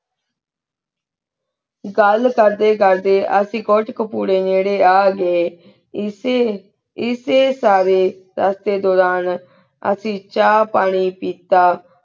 ਘਾਲ ਕਰਦੀ ਕਰਦੀ ਅਸੀਂ ਕੁਥਾਕ ਪੁਰੀ ਨਿਰੀ ਅਗੀ ਏਸੀ ਏਸੀ ਸਵੀ ਰਸਦੀ ਦੁਰਾਨ ਅਸੀਂ ਚਾ ਪਾਣੀ ਪਤਾ